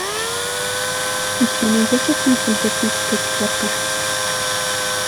у тебя найдется фильм фантастическая четверка